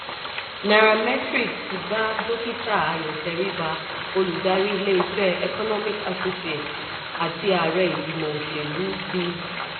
nairametrics ti bá dókítà ayo teriba olùdarí ilé iṣẹ́ economic associates àti ààrẹ ìgbìmọ̀ òṣèlú ti